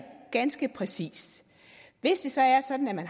ganske præcist hvis det så er sådan at